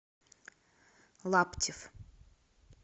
лаптев